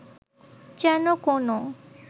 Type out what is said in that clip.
যেন কোনও